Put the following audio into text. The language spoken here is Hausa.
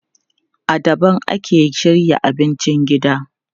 A daban ake shirya abincin gida.